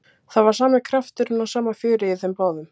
Það var sami krafturinn og sama fjörið í þeim báðum.